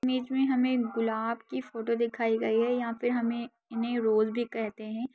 Image में हमे गुलाब की फोटो दिखाई गई है यहां पे हमे इन्हें रोज भी कहते है।